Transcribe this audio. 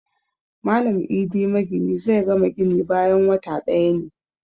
Malam Idi magini zai gama gini bayan wata ɗaya ne